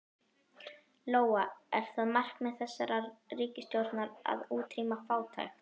Lóa: Er það markmið þessarar ríkisstjórnar að útrýma fátækt?